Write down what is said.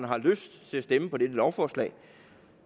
har lyst til at stemme for dette lovforslag